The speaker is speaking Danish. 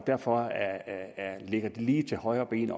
derfor ligger det lige til højrebenet